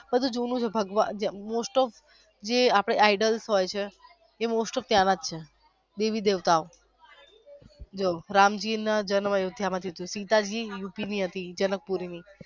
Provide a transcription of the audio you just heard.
હજી જૂનું જ છે બધું most of આપડા ideals હોઈછે most of ત્યાં ના જ છે દેવી દેવતા બોલ રામજી ના જન્મ સીતાજી યુપી ની હતી જનકપુર ની